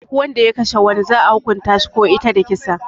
Duk Wanda ya Kashe wani za'a hukunta shi ko ita da kisa.